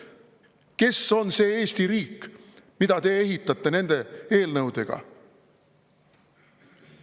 Kes on see Eesti riik, mida te ehitate nende eelnõudega?